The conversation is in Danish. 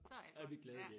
Så alt godt ja